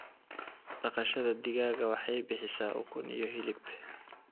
Dhaqashada digaaga waxay bixisaa ukun iyo hilib.